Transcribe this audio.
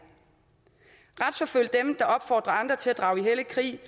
retsforfølg dem der opfordrer andre til at drage i hellig krig